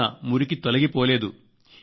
అయినా మురికి తొలగిపోలేదు